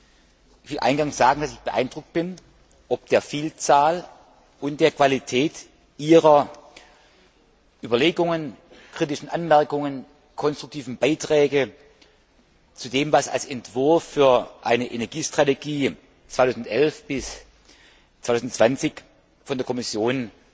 Ich will eingangs sagen, dass ich beeindruckt bin ob der Vielzahl und der Qualität Ihrer Überlegungen, kritischen Anmerkungen und konstruktiven Beiträge zu dem, was als Entwurf für eine Energiestrategie für den Zeitraum 2011 bis 2020 von der Kommission